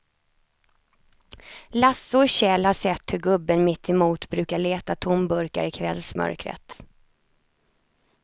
Lasse och Kjell har sett hur gubben mittemot brukar leta tomburkar i kvällsmörkret.